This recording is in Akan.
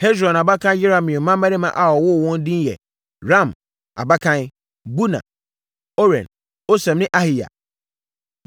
Hesron abakan Yerahmeel mmammarima a ɔwoo wɔn no edin yɛ Ram (abakan), Buna, Oren, Osem ne Ahiya.